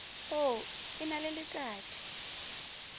o e na le letadi